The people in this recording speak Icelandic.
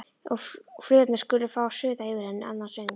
Og flugurnar skulu fá að suða yfir henni annan söng.